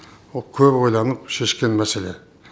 ол көп ойланып шешкен мәселе